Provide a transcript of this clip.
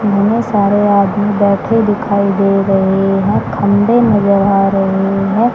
बहुत सारे आदमी बैठे दिखाई दे रहे हैं खम्भे नजर आ रहे है।